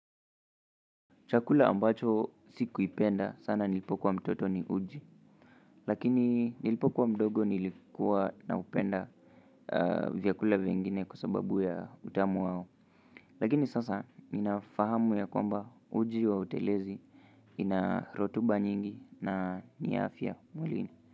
Chakula ambacho sikuipenda sana nilipo kua mtoto ni uji lakini nilipo kua mdogo nilikuwa na upenda vyakula vingine kwa sababu ya utamu wao lakini sasa ni nafahamu ya kwamba uji wa utelezi ina rotuba nyingi na ni ya afya mwilini.